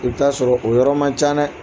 O t'a sɔrɔ o yɔrɔ man ca dɛ